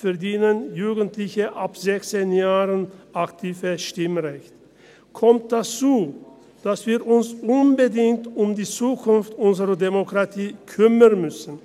Hinzu kommt, dass wir uns unbedingt um die Zukunft unserer Demokratie kümmern müssen.